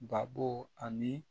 Babo ani